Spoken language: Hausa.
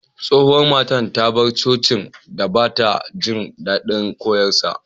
Tsohuwan matan ta bar coci'n dan ba'ta jin dadin koyarswan.